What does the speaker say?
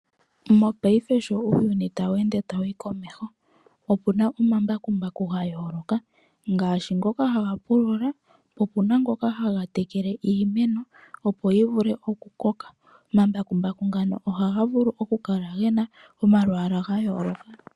Mopaife sho uuyuni ta wu ende ta wu yi komeho , opu na omambakumbaku ga yooloka ngaashi ngoka ha ga pulula , opuna ngoka ha ga tekele iimeno opo yi vule oku koka. Omambakumbaku ngano oha ga vulu oku kala ge na omalwaala ga yooloka.